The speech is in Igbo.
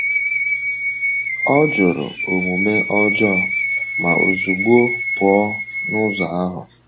“Ọ jụrụ omume um ọjọọ ma ozugbo pụọ n’ụzọ ahụ.”